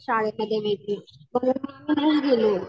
शाळेमध्ये वगैरे